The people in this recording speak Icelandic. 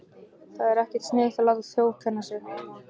Það var ekkert sniðugt að láta þjófkenna sig.